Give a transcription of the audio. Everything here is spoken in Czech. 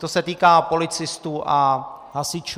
To se týká policistů a hasičů.